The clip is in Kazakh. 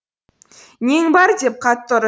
нең бар деп қатты ұр